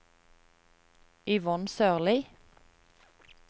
Yvonne Sørlie